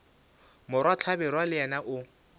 morwa hlabirwa le yena o